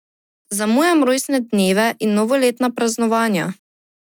Zamujam rojstne dneve in novoletna praznovanja.